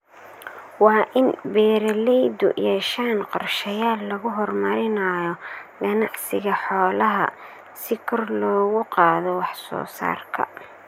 Waa in beeralaydu yeeshaan qorshayaal lagu horumarinayo ganacsiga xoolaha si kor loogu qaado wax soo saarka.